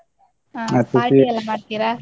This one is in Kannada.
party ಎಲ್ಲಾ ಮಾಡ್ತೀರಾ?